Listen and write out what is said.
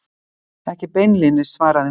Ekki beinlínis, svaraði hún.